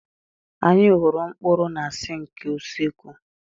Anyị hụrụ ikpuru na sịnkị usekwụ.